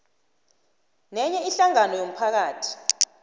nenye ihlangano yomphakathi